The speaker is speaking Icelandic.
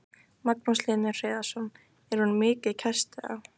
Magnús Hlynur Hreiðarsson: Er hún mikið kæst eða?